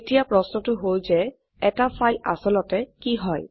এতিয়া প্রশ্নটো হল যে এটি ফাইল আসলতে কি হয়